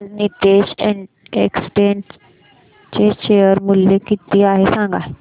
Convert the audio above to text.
आज नीतेश एस्टेट्स चे शेअर मूल्य किती आहे सांगा